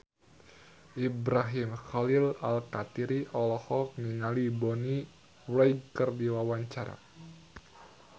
Ibrahim Khalil Alkatiri olohok ningali Bonnie Wright keur diwawancara